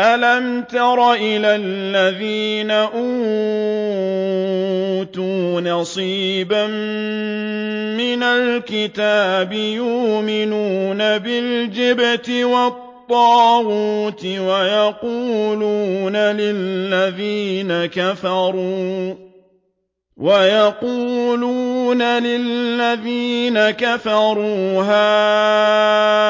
أَلَمْ تَرَ إِلَى الَّذِينَ أُوتُوا نَصِيبًا مِّنَ الْكِتَابِ يُؤْمِنُونَ بِالْجِبْتِ وَالطَّاغُوتِ وَيَقُولُونَ لِلَّذِينَ كَفَرُوا هَٰؤُلَاءِ